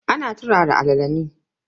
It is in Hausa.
Ana turara alala ne.